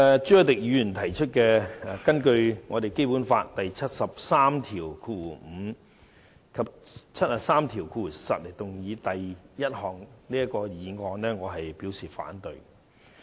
朱凱廸議員根據《基本法》第七十三條第五項及第七十三條第十項動議的第一項議案，我表示反對。